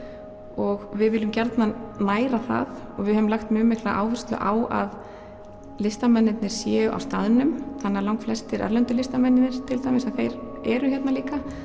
og við viljum gjarnan næra það og við höfum lagt mjög mikla áherslu á að listamennirnir séu á staðnum þannig að lagflestir erlendu listamennirnir til dæmis að þeir eru hérna líka